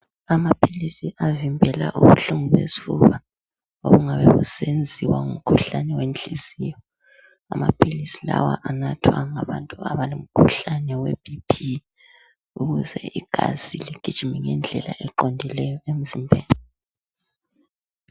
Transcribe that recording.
Amaphilisi avimbela ubuhlungu besifuba. Obungabe busenziwa ngumkhuhlane wenhliziyo. Amaphilisi lawa anathwa ngabantu abalo mkhuhlane weBP ukuze igazi ligijime ngendlela eqondileyo emzimbeni.